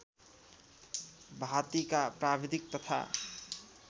भाँतीका प्राविधिक तथा